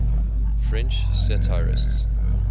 french satirists